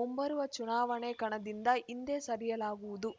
ಮುಂಬರುವ ಚುನಾವಣೆ ಕಣದಿಂದ ಹಿಂದೆ ಸರಿಯಲಾಗುವುದು